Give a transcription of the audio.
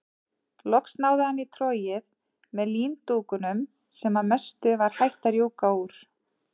Loks náði hann í trogið með líndúkunum sem að mestu var hætt að rjúka úr.